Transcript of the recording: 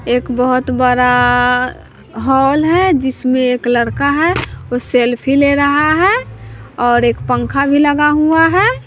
एक बहोत बड़ा हॉल है जिसमे एक लड़का है वो सेल्फी ले रहा है और एक पंखा भी लगा हुआ है।